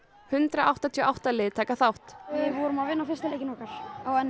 hundrað áttatíu og átta lið taka þátt við vorum að vinna fyrsta leikinn okkar á n